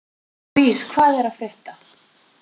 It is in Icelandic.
Louise, hvað er að frétta?